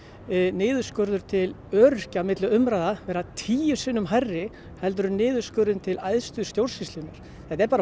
niðurskurður til öryrkja vera tíu sinnum hærri heldur en niðurskurður til æðstu stórnsýslunnar þetta er bara